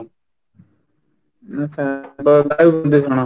ଆଚ୍ଛା, ବାୟୁ ପ୍ରଦୂଷଣ